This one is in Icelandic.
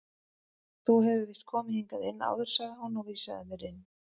Þú hefur víst komið hingað inn áður sagði hún og vísaði mér inn.